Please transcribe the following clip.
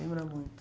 Lembra muito.